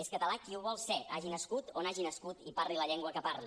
és català qui ho vol ser hagi nascut on hagi nascut i parli la llengua que parli